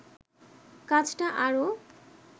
কাজটা আরো